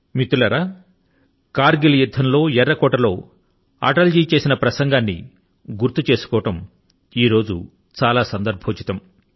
మిత్రులారా కర్ గిల్ యుద్ధం కాలం లో అటల్ గారు ఎర్ర కోట నుండి ఇచ్చిన ప్రసంగాన్ని గుర్తు చేసుకోవడం ఈ రోజు న చాలా సందర్భోచితం